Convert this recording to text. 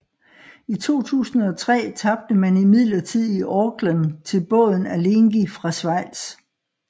I 2003 tabte man imidlertid i Aukland til båden Alinghi fra Schweiz